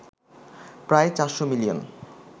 প্রায় ৪০০ মিলিয়ন